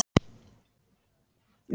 Ég setti flöskuna og pelann á borðið.